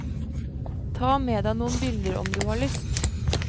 Ta med deg noen bilder om du har lyst.